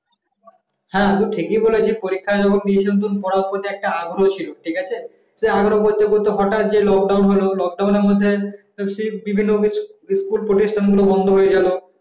হ্যাঁ তো ঠিকই বলেছিস পরীক্ষা তখন দিয়েছিলাম তখন পড়ার প্রতি একটা আগ্রহ ছিল ঠিক আছে আগ্রহ পড়তে পড়তে হঠাৎ যে lockdown হল lockdown এর বমধ্যে বিভিন্ন office school প্রতিষ্ঠানগুলো বন্ধ হয়ে গেল